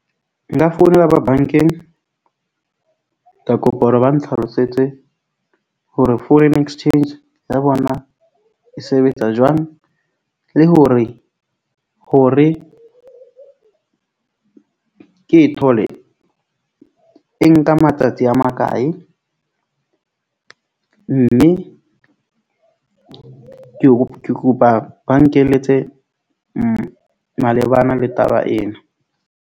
Nka founela ba bank-eng ka kopa hore ba ntlhalosetse hore foreign exchange ya bona e sebetsa jwang le hore, hore ke e thole, e nka matsatsi a makae mme ke ke kopa ba nkeletse malebana le taba ena.